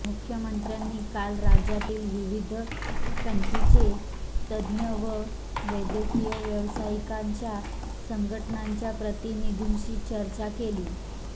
मुख्यमंत्र्यांनी काल राज्यातील विविध पॅथींचे तज्ज्ञ व वैद्यकीय व्यावसायिकांच्या संघटनांच्या प्रतिनिधींशी चर्चा केली